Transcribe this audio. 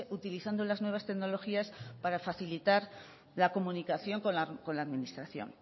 utilizando las nuevas tecnologías para facilitar la comunicación con la administración